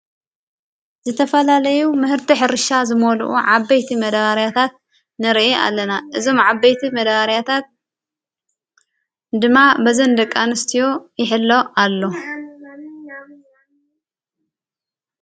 ዘተፈላለይ ምህርቲ ሕርሻ ዝመልኡ ዓበይቲ መዳባርያታት ነርአ ኣለና እዞም ዓበይቲ መዳባርያታት ድማ በዘንደቃ ንስትዮ የሕለ ኣሎ።